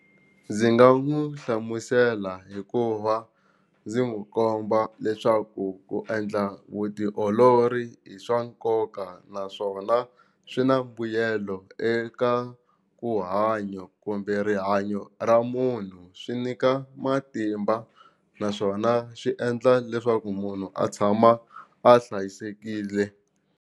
Ndzi nga mu hlamusela hikuva ndzi n'wi komba leswaku ku endla vutiolori i swa nkoka naswona swi na mbuyelo eka ku hanya kumbe rihanyo ra munhu swi nyika matimba naswona swi endla leswaku munhu a tshama a hlayisekile.